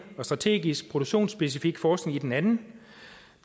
og strategisk produktionsspecifik forskning i den anden